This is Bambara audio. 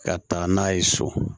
Ka taa n'a ye so